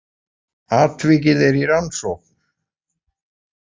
Atvikið er í rannsókn